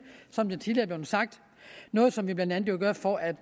som det tidligere er blevet sagt noget som vi blandt andet gør for at